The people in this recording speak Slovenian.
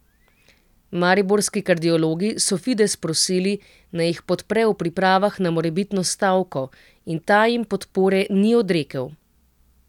Mariborski kardiologi so Fides prosili, naj jih podpre v pripravah na morebitno stavko, in ta jim podpore ni odrekel.